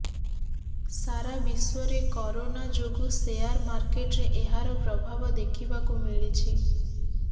ସାରା ବିଶ୍ୱରେ କରୋନା ଯୋଗୁ ଶେଆର ମାର୍କେଟରେ ଏହାର ପ୍ରଭାବ ଦେଖିବାକୁ ମିଳିଛି